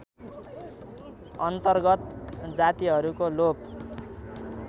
अन्तर्गत जातिहरूको लोप